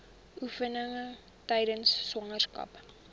oefeninge tydens swangerskap